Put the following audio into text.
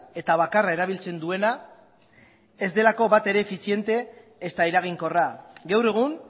eta bakarra erabiltzen duena ez delako bat ere efiziente ezta eraginkorra gaur egun